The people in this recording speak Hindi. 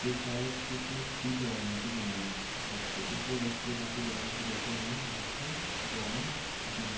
शायद कुछ सीख राहा है कुछ नया अट्रॅक्टिव इससे बच्चे काफी लगन से बैठे लाईन से रोव में अपने--